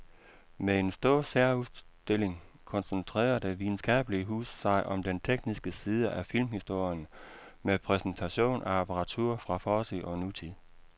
Med en stor særudstilling koncentrerer det videnskabelige hus sig om den tekniske side af filmhistorien med præsentation af apparatur fra fortid og nutid.